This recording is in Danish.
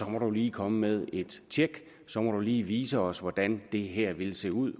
må du lige komme med et tjek så må du lige vise os hvordan det her ville se ud